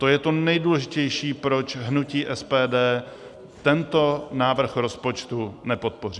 To je to nejdůležitější proč hnutí SPD tento návrh rozpočtu nepodpoří.